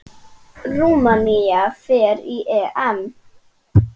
Rúmenía fer á EM.